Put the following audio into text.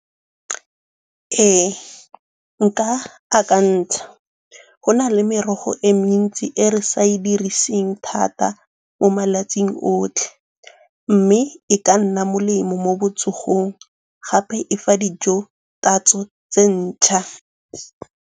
Ee, nka akantsha. Go na le merogo e mentsi e re sa e diriseng thata mo malatsing otlhe, mme e ka nna molemo mo botsogong gape e fa dijo tatso tse ntšhwa.